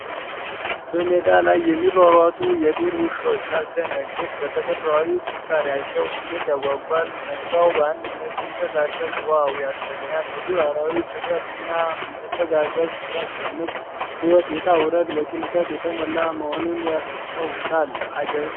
በሜዳ ላይ የሚሯሯጡ የዱር ውሾች ሲያስደነግጥ በተፈጥሮአዊ ጥንካሬአቸው እንዴት ያጓጓል! መንጋው በአንድነት ሲንቀሳቀስ ዋው ያሰኛል። የዱር አራዊት ጥምረትና መተጋገዝ ሲያስደንቅ የሕይወት ውጣ ውረድ በጭንቀት የተሞላ መሆኑን ያስታውሳል። አጀብ!